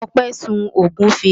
Ọpẹ́ sun ògúnfe.